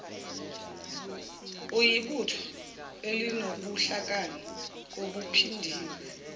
uyibutho elinobuhlakani obuphindiwe